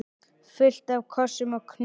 Fullt af kossum og knúsum.